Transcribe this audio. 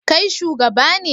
Kai shugaba ne?